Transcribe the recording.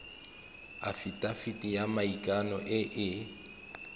afitafiti ya maikano e e